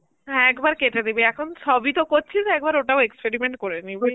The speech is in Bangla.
হ্যাঁ একবার কেটে দিবি এখন সবই তো করছিস একবার ওটাও experiment করে নিবি